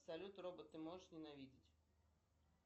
салют робот ты можешь ненавидеть